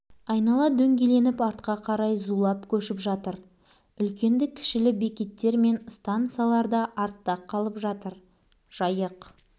айнала дөңгеленіп артқа қарай зулап көшіп жатыр үлкенді-кішілі бекеттер мен стансалар да артта қалып жатыр жайық